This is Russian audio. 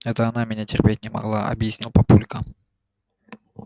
это она меня терпеть не могла объяснил папулька